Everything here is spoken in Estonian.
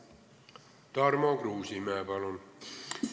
Tarmo Kruusimäe, palun!